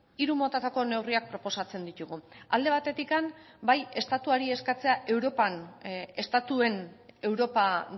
hiru motatako neurriak proposatzen ditugu alde batetik bai estatuari eskatzea europan estatuen europa